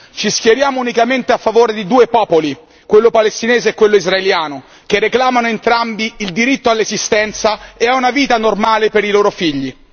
Ci schieriamo unicamente a favore di due popoli, quello palestinese e quello israeliano, che reclamano entrambi il diritto all'esistenza e a una vita normale per i loro figli.